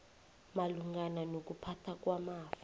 malungana nokuphathwa kwamafa